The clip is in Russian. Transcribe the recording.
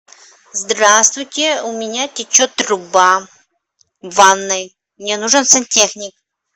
здравствуйте у меня течет труба в ванной мне нужен сантехник